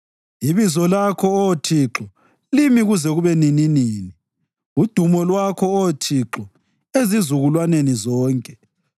Ibizo lakho, Oh Thixo, limi kuze kube nininini, udumo lwakho, Oh Thixo, ezizukulwaneni zonke.